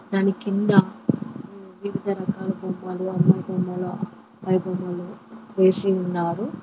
దానికింద వివిధ రకాల బొమ్మలు అమ్మాయి బొమ్మలు అబ్బాయి బొమ్మలు వేశి ఉన్నారు.